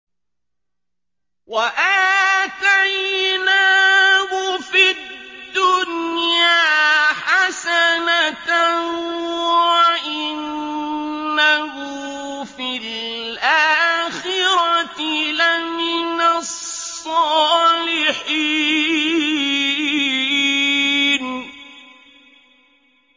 وَآتَيْنَاهُ فِي الدُّنْيَا حَسَنَةً ۖ وَإِنَّهُ فِي الْآخِرَةِ لَمِنَ الصَّالِحِينَ